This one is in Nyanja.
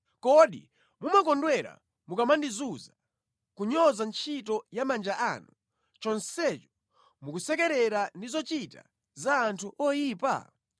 Kodi mumakondwera mukamandizunza, kunyoza ntchito ya manja anu, chonsecho mukusekerera ndi zochita za anthu oyipa?